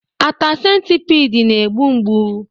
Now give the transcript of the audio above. Ata centipede na-egbu mgbu